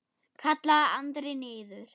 kallaði Andri niður.